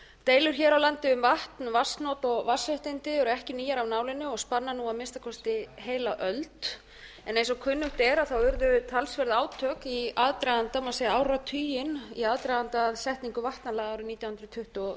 deilur hér á landi um vatn vatnsnot og vatnsréttindi ekki nýjar af nálinni og spanna nú að minnsta kosti heila öld en eins og kunnugt er urðu talsverð átök í aðdraganda má segja áratuginn í aðdraganda setningu vatnalaga árið nítján hundruð tuttugu